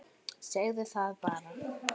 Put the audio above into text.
Segðu það bara!